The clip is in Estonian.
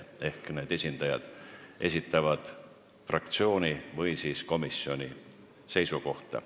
Ehk need esindajad esitavad fraktsiooni või komisjoni seisukohti.